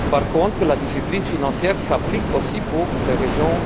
Par contre, la discipline financière s'applique aussi à ces régions.